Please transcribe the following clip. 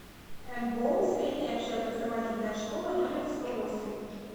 мбоу средняя общеобразовательная школа номер сто восемь